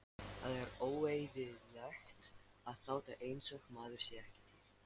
Það er óeðlilegt að láta einsog maður sé ekki til.